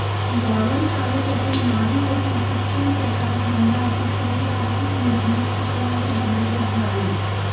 यावल तालुक्यातील न्हावी येथील शिक्षणप्रसारक मंडळाची त्रैवार्षिक निवडणूक शुक्रवारी बिनविरोध झाली